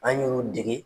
An y'u dege